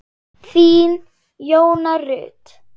Þín, Jóna Rut.